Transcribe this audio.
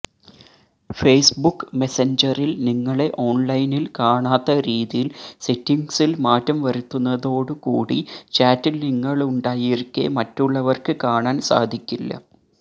Facebook മെസ്സഞ്ചറില് നിങ്ങളെ ഓണ്ലൈനില് കാണാത്ത രീതിയില് സെറ്റിംഗ്സില് മാറ്റം വരുത്തുന്നതോടുകൂടി ചാറ്റില് നിങ്ങളുണ്ടായിരിക്കെ മറ്റുള്ളവര്ക്ക് കാണാന് സാധിക്കില്ല